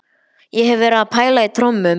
Ég hef verið að pæla í trommum.